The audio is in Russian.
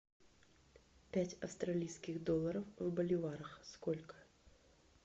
пять австралийских долларов в боливарах сколько